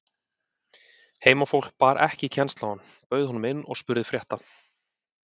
Heimafólk bar ekki kennsl á hann, bauð honum inn og spurði frétta.